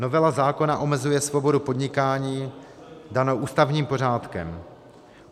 Novela zákona omezuje svobodu podnikání danou ústavním pořádkem.